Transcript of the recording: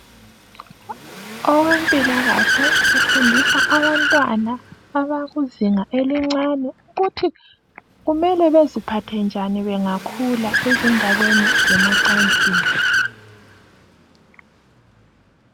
Owezempilakahle ufundisa abantwana abasezingeni eliphansi ukuthi kumele baziphathe njani bangakhula ezindabeni zemacansini.